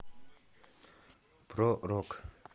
про рок